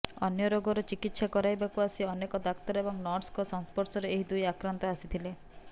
ଅନ୍ୟ ରୋଗର ଚିକିତ୍ସା କରାଇବାକୁ ଆସି ଅନେକ ଡାକ୍ତର ଏବଂ ନର୍ସଙ୍କ ସଂସ୍ପର୍ଶରେ ଏହି ଦୁଇ ଆକ୍ରାନ୍ତ ଆସିଥିଲେ